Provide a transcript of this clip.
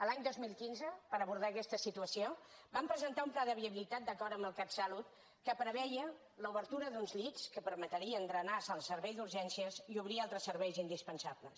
l’any dos mil quinze per abordar aquesta situació vam presentar un pla de viabilitat d’acord amb el catsalut que preveia l’obertura d’uns llits que permetrien drenar el seu servei d’urgències i obrir altres serveis indispensables